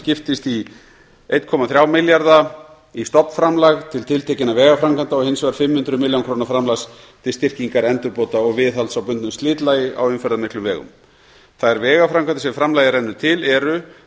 skiptist í einn komma þrjá milljarða stofnkostnaðarframlag til tiltekinna vegaframkvæmda og hins vegar fimm hundruð milljóna króna framlag til styrkingar endurbóta og viðhalds á bundnu slitlagi á umferðarmiklum vegum þær vegaframkvæmdir sem framlagið rennur til eru